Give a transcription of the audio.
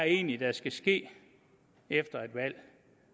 egentlig der skal ske efter et valg